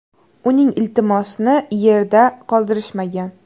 Uning iltimosini yerda qoldirishmagan.